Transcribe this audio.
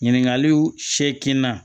Ɲininkaliw sekin na